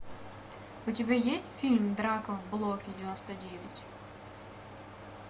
у тебя есть фильм драка в блоке девяносто девять